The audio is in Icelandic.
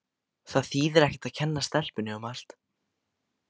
Það þýðir ekkert að kenna stelpunni um allt.